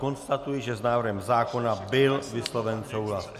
Konstatuji, že s návrhem zákona byl vysloven souhlas.